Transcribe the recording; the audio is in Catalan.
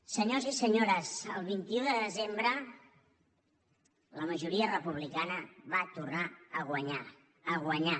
senyors i senyores el vint un de desembre la majoria republicana va tornar a guanyar a guanyar